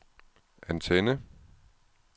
antenne